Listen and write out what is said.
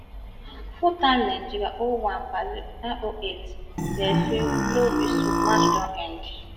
full time nigeria oh one brazil nine oh eight referee blow whistle match don end